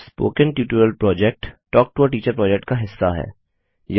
spoken tutorial project talk to a teacher project का हिस्सा है